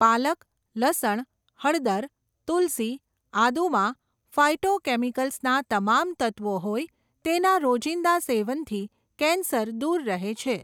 પાલક, લસણ, હળદર, તુલસી, આદુમાં ફાયટોકેમિકલ્સના તમામ તત્ત્વો હોઇ તેના રોજિંદા સેવનથી કેન્સર દૂર રહે છે.